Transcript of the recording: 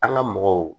An ga mɔgɔw